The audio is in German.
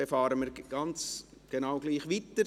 Dann fahren wir ganz genau gleich weiter.